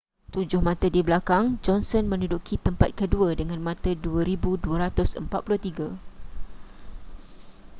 tujuh mata di belakang johnson menduduki tempat kedua dengan mata 2,243